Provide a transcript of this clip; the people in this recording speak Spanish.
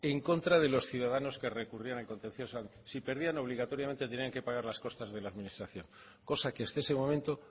en contra de los ciudadanos que recurrían el contencioso si perdían obligatoriamente tenían que pagar las costas de la administración cosa que hasta ese momento